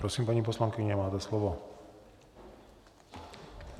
Prosím, paní poslankyně, máte slovo.